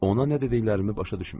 Ona nə dediklərini başa düşmürdü.